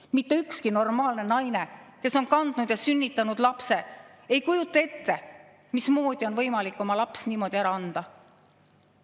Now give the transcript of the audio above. Mitte ükski normaalne naine, kes on kandnud last ja selle lapse sünnitanud, ei kujuta ette, mismoodi on võimalik oma last niimoodi ära anda.